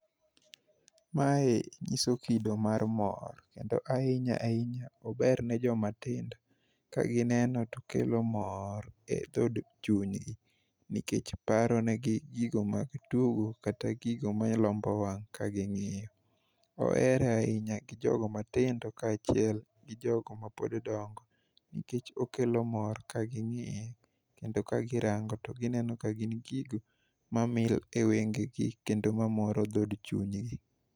Mae nyiso kido mar mor kendo ahinya ahinya ober ne jomatindo kagineno to kelo mor e dhod chunygi nikech paronegi gigo mag tugo kata gigo malombo wang' ka ging'iyo. Ohere ahinya gi jogo matindo kaachiel gi jogo mapod dongo nikech okelo mor kaging'iye kendo kagirango to gineno ka gin gigo mamil e wengegi kendo mamoro dhod chunygi.